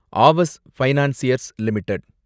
Aavas financiers limited